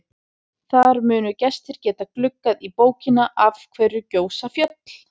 Þar munu gestir geta gluggað í bókina Af hverju gjósa fjöll?